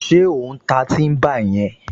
Ṣé ò ń ta tíḿbà yẹn?